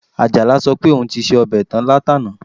Àjàlá sọ pé òun ti se ọbẹ̀ tán látàná